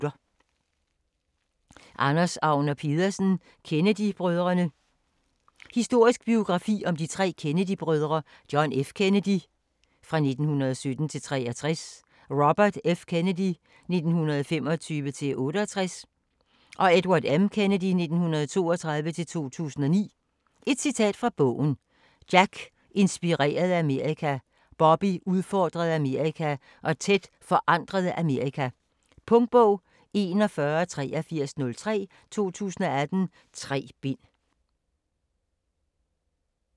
Agner Pedersen, Anders: Kennedy-brødrene Historisk biografi om de tre Kennedy-brødre : John F. Kennedy (1917-1963), Robert F. Kennedy (1925-1968) og Edward M. Kennedy (1932-2009). Et citat fra bogen: "Jack inspirerede Amerika, Bobby udfordrede Amerika og Ted forandrede Amerika". Punktbog 418303 2018. 3 bind.